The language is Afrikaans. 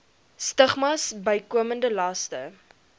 stigmas bykomende laste